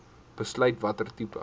besluit watter tipe